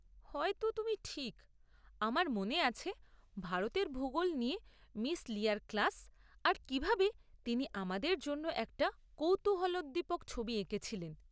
হয়তো তুমি ঠিক! আমার মনে আছে ভারতের ভুগোল নিয়ে মিস লিয়ার ক্লাস, আর কিভাবে তিনি আমাদের জন্য একটা কৌতূহলোদ্দীপক ছবি এঁকেছিলেন।